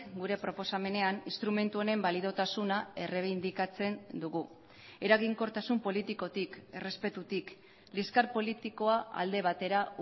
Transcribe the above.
gure proposamenean instrumentu honen baliotasuna errebindikatzen dugu eraginkortasun politikotik errespetutik liskar politikoa alde batera